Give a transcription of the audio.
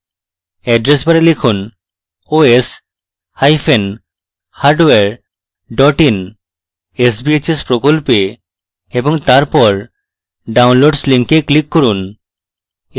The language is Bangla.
অ্যাড্রেস bar লিখুন: oshardware in sbhs প্রকল্পে এবং তারপর downloads link click করুন